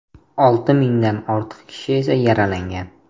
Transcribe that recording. Olti mingdan ortiq kishi esa yaralangan.